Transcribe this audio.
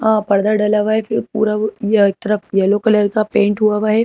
पर्दा डाला हुआ है ये एक तरफ येलो कलर का पेंट हुआ है।